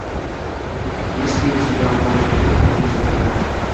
есть ли у тебя море дает море забирает